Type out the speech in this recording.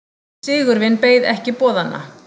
Sigurvin beið ekki boðanna.